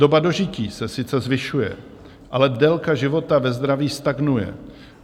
"Doba dožití se sice zvyšuje, ale délka života ve zdraví stagnuje.